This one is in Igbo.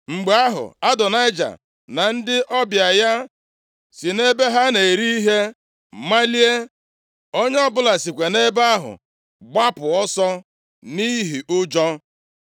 Mgbe ahụ, Adonaịja, na ndị ọbịa ya si nʼebe ha na-eri ihe malie. Onye ọbụla sikwa nʼebe ahụ gbapụ ọsọ, nʼihi ụjọ.